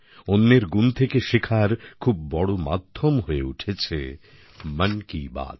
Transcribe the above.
অন্যের গুণ থেকে শেখার খুব বড় মাধ্যম হয়ে উঠেছে মন কি বাত